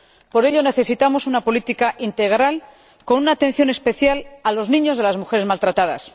por ello necesitamos una política integral con una atención especial a los niños de las mujeres maltratadas.